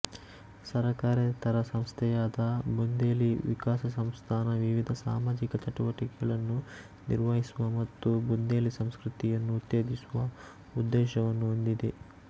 ಸರಕಾರೇತರ ಸಂಸ್ಥೆಯಾದ ಬುಂದೇಲಿ ವಿಕಾಸ ಸಂಸ್ಥಾನ ವಿವಿಧ ಸಾಮಾಜಿಕ ಚಟುವಟಿಕೆಗಳನ್ನು ನಿರ್ವಹಿಸುವ ಮತ್ತು ಬುಂದೇಲಿ ಸಂಸ್ಕೃತಿಯನ್ನು ಉತ್ತೇಜಿಸುವ ಉದ್ದೇಶವನ್ನು ಹೊಂದಿದೆ